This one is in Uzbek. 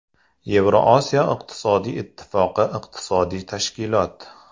Yevrosiyo iqtisodiy ittifoqi iqtisodiy tashkilot.